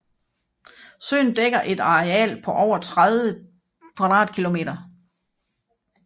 Søen dækker et areal på over 30 km2